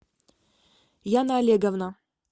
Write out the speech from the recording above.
яна олеговна